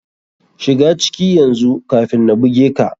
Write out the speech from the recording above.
Shiga ciki yanzu kafin na buge ka.